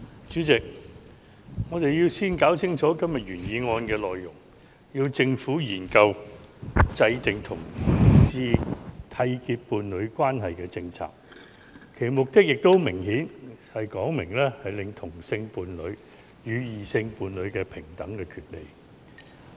主席，我們先要弄清楚今天原議案的內容，是"促請政府研究制訂讓同志締結伴侶關係的政策"；其目的也很明顯，是希望"令同性伴侶得享與異性伴侶平等的權利"。